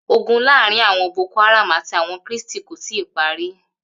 Ogun laarin awon boko haram ati awon kristi ko tii pari.